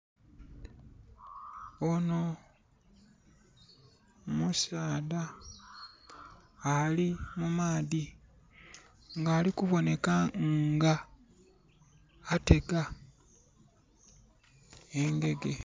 Ono musaadha ali mumaadhi nga ali kuboneka nga atega engege